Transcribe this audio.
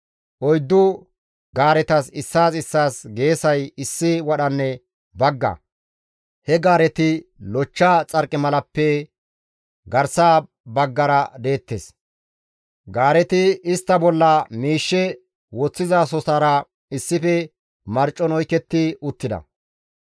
Oyddu gaaretas issaas issaas geesay issi wadhanne bagga; he gaareti lochcha xarqimalaappe garsa baggara deettes; gaareti istta bolla miishshe woththizasotara issife marcon oyketti uttida.